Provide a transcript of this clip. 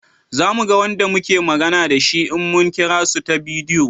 Za mu ga Wanda muke magana da shi in mun kira su ta bidiyo